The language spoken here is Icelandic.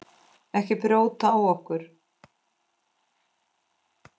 Ekki brjóta á okkur.